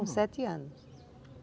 Com sete anos.